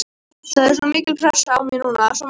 Það er svo mikil pressa á mér núna, svo margt að gerast.